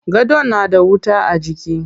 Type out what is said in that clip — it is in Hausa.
Gadon na da wuta a jiki.